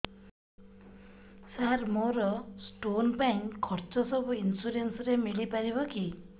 ସାର ମୋର ସ୍ଟୋନ ପାଇଁ ଖର୍ଚ୍ଚ ସବୁ ଇନ୍ସୁରେନ୍ସ ରେ ମିଳି ପାରିବ କି